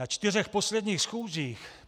Na čtyřech posledních schůzích